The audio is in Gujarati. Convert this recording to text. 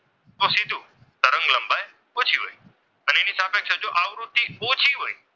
અને જો આવૃત્તિ ઓછી હોય,